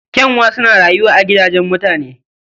Ƙyanwa suna rayuwa a gidajen mutane